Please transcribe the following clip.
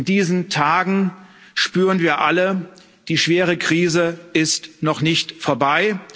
In diesen Tagen spüren wir alle Die schwere Krise ist noch nicht vorbei.